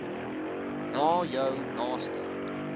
na jou naaste